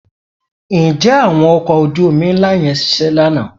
Ǹjẹ́ àwọn ọkọ̀ ojú-omi ńlá yẹn ṣiṣẹ́ lánàá?